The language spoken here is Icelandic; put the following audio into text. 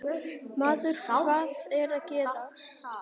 Maður, hvað er að gerast?